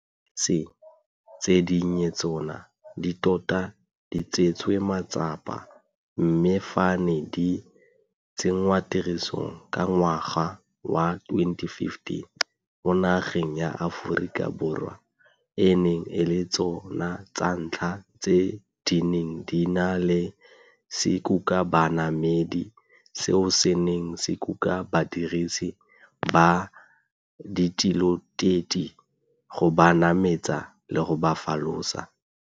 Dibese tse dinnye tsona di tota di tseetswe matsapa, mme fa di ne di tsenngwatirisong ka ngwaga wa 2015, mo nageng ya Aforika Borwa e ne e le tso na tsa ntlha tseo di neng di na le sekukabanamedi seo se neng se kuka badirisi ba ditiloteti go ba nametsa le go ba folosa.